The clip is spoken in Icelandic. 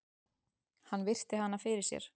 Hann virti hana fyrir sér.